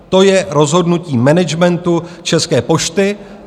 To je rozhodnutí managementu České pošty.